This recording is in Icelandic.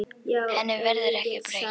Henni verður ekki breytt.